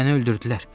Məni öldürdülər.